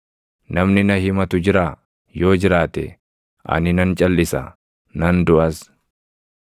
Namni na himatu jiraa? Yoo jiraate, ani nan calʼisa; nan duʼas.